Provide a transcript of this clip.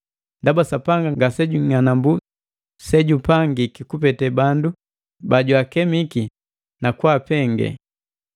Ndaba Sapanga ngase jung'anambu sejupangiki kupete bandu bajwaakemiki nakwaapengee.